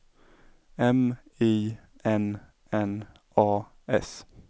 M I N N A S